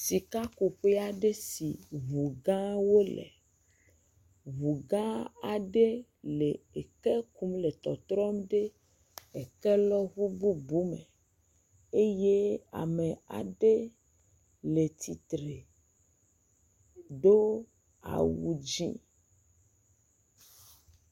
Sikakuƒe aɖe si ŋu gãwo le, ŋugã aɖe le eke kum le tɔtrɔm ɖe ekelɔŋu bubu me eye ame aɖe le tsitre do awu dzɛ̃fff…